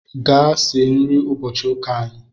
Gaa sie nri ụbọchị ụka anyị